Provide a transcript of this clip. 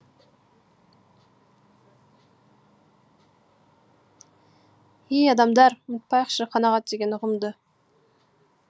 ей адамдар ұмытпайықшы қанағат деген ұғымды